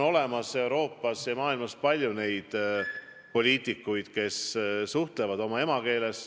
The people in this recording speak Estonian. Euroopas ja mujal maailmas on palju poliitikuid, kes suhtlevad välismaalastega oma emakeeles.